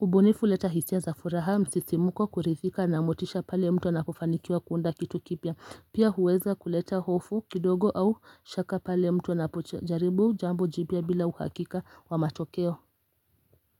ubunifu uleta hisia za furaha, msisimuko kuridhika na motisha pale mtu anakofanikiwa kuunda kitu kipya Pia huweza kuleta hofu kidogo au shaka pale mtu anapo jaribu jambo jipya bila uhakika wa matokeo.